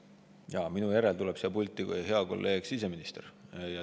Jaa, minu järel tuleb siia pulti hea kolleeg siseminister.